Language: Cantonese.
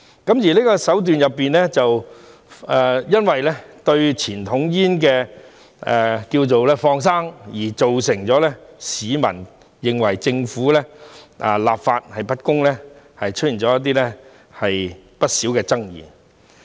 就這個手段，由於政府"放生"傳統煙，造成市民認為政府立法不公而出現不少爭議。